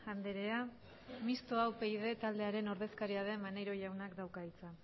andrea mistoa upyd taldearen ordezkaria den maneiro jaunak dauka hitza